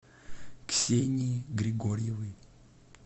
ксении григорьевой